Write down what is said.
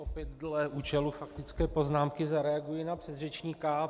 Opět dle účelu faktické poznámky zareaguji na předřečníka.